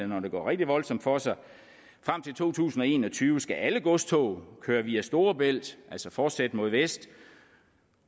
når det går rigtig voldsomt for sig frem til to tusind og en og tyve skal alle godstog køre via storebælt altså fortsætte mod vest